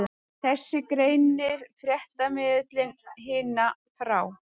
Þessu greinir fréttamiðillinn Hina frá